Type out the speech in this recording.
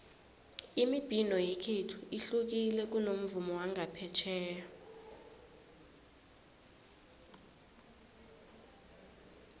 imibhino yekhethu ihlukile kunomvumo wangaphetjheya